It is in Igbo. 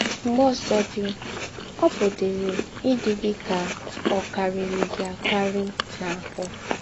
Mḡbè ǒsọ̀̀dí, ọ̀ pụ̀dịrị ídị gị kà ọ̀ kàrírí gị àkàrí n’áhụ́.